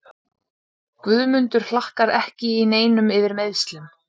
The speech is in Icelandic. Guðmundur Hlakkar ekki í neinum yfir meiðslum.